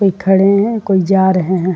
कोई खड़े हैं कोई जा रहे हैं।